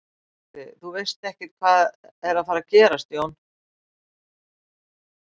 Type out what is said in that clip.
Gunnar Atli: Þú veist ekkert hvað er að fara gerast Jón?